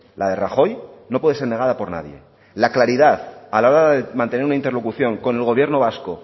la de rajoy no puede ser negada por nadie la claridad a la hora de mantener una interlocución con el gobierno vasco